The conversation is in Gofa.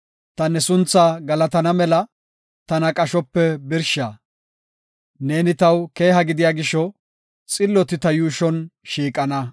Ta ne sunthaa galatana mela, tana qashope birsha. Neeni taw keeha gidiya gisho, xilloti ta yuushon shiiqana.